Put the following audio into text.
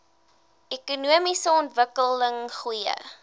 ekonomiese ontwikkeling goeie